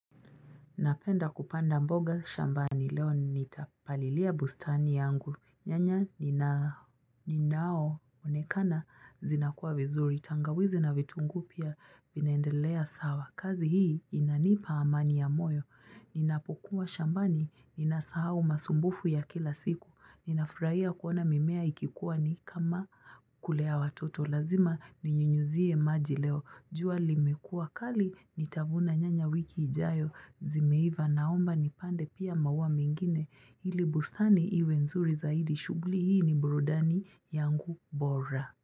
Napenda kupanda mboga shambani leo nitapalilia bustani yangu. Nyanya inaonekana zinakuwa vizuri. Tangawizi na vitungu pia vinaendelea sawa. Kazi hii inanipa amani ya moyo. Ninapokuwa shambani ninasahau masumbufu ya kila siku. Ninafurahia kuona mimea ikikuwa ni kama kulea watoto. Lazima ni nyunyuzie maji leo. Jua limekua kali nitavuna nyanya wiki ijayo. Zimeiva naomba nipande pia maua mngine ili bustani iwe nzuri zaidi shughuli hii ni burudani yangu bora.